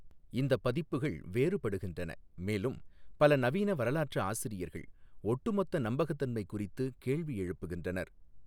இந்த பதிப்புகள் வேறுபடுகின்றன மேலும் பல நவீன வரலாற்றாசிரியர்கள் ஒட்டுமொத்த நம்பகத்தன்மை குறித்து கேள்வி எழுப்புகின்றனர்.